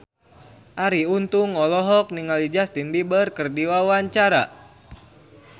Arie Untung olohok ningali Justin Beiber keur diwawancara